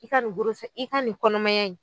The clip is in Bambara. I ka nin kɔnɔmaya in